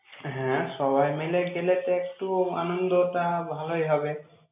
হ্যাঁ, সবাই মিলে গেলে তো একটু আনন্দটা ভালোই হবে।